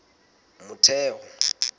motheo